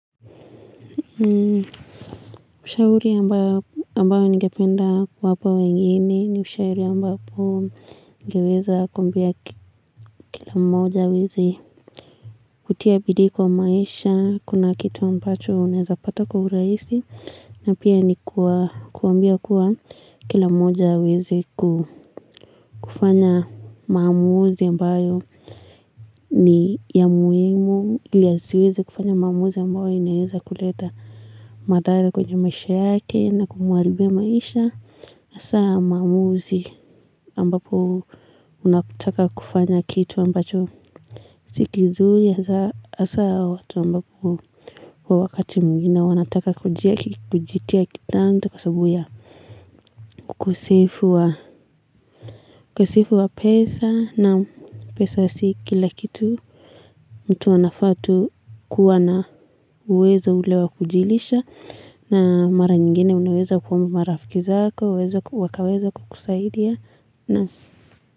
Ushauri ambayo ningependa kuwapa wengine ni ushauri ambapo ningeweza kuambia kila moja aweze kutia bidii kwa maisha, kuna kitu ambacho unaeza pato kwa urahisi, na pia ni kuwa, kuwaambia kuwa, kila moja aweze kufanya maamuzi ambayo, nii ya muhimu ili asiweze kufanya maamuzi ambayo inaweza kuleta, madhara kwenye maisha yake na kumharibia maisha hasa maamuzi ambapo, unataka kufanya kitu ambacho si kizuri hasa watu ambapo kwa wakati mwingine wanataka kujitia kitanzi kwa sabu ya, ukosefu wa pesa. Naam pesa si kila kitu. Mtu anafaa tu kuwa na uwezo ule wa kujilisha, na mara nyingine unaweza kuomba marafiki zako wakaweza kukusaidia. Naam.